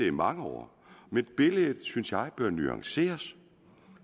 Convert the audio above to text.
i mange år men billedet synes jeg nuanceres